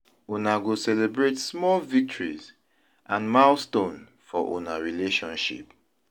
Una go celebrate small victories and milestone for una relationship.